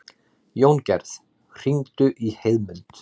Jóngerð, hringdu í Heiðmund.